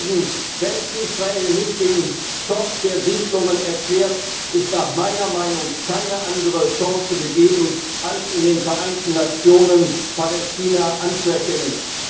Deswegen Wenn Israel nicht den Stopp der Siedlungen erklärt, ist nach meiner Meinung keine andere Chance gegeben, als Palästina in den Vereinten Nationen anzuerkennen.